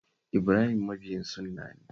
Ibrahim mabiyin sunna ne?